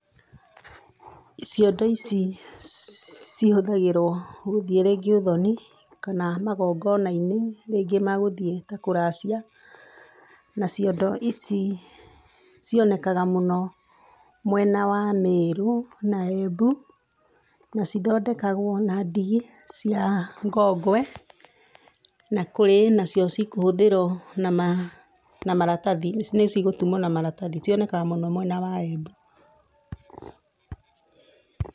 Ciondo ici cihũthagĩrwo gũthiĩ rĩngĩ ũthoni kana magongona-inĩ rĩngĩ ma gũthiĩ ta kũracia, na ciondo ici cionekaga mũno mwena ya Merũ na Embu, na cithondekagwo na ndigi cia ngongwe, na kũrĩ nacio cikuhũthĩrwo na maratathi, nĩ cigũtumwo na maratathi. Cionekaga mũno mwena wa Embu.